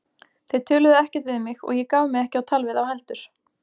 Þeir töluðu ekkert við mig og ég gaf mig ekki á tal við þá heldur.